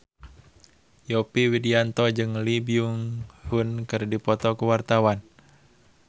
Yovie Widianto jeung Lee Byung Hun keur dipoto ku wartawan